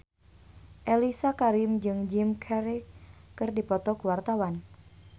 Mellisa Karim jeung Jim Carey keur dipoto ku wartawan